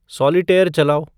solitaire चलाओ